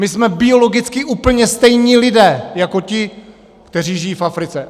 My jsme biologicky úplně stejní lidé jako ti, kteří žijí v Africe.